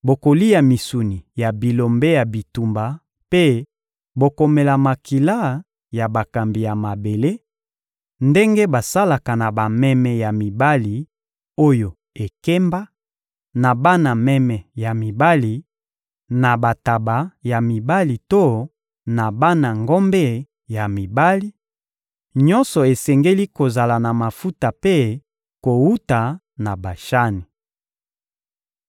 Bokolia misuni ya bilombe ya bitumba mpe bokomela makila ya bakambi ya mabele, ndenge basalaka na bameme ya mibali oyo ekemba, na bana meme ya mibali, na bantaba ya mibali to na bana ngombe ya mibali: nyonso esengeli kozala ya mafuta mpe kowuta na Bashani.